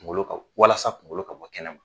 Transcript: Kungolo ka walasa kungolo ka bɔ kɛnɛ ma.